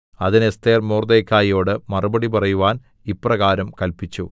അതിന് എസ്ഥേർ മൊർദെഖായിയോട് മറുപടി പറയുവാൻ ഇപ്രകാരം കല്പിച്ചു